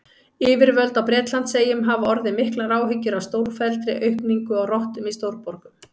Yfirvöld á Bretlandseyjum hafa orðið miklar áhyggjur af stórfelldri aukningu á rottum í stórborgum.